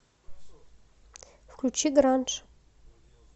включи гранж